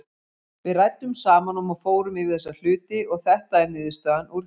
Við ræddum saman og fórum yfir þessa hluti og þetta er niðurstaðan úr því.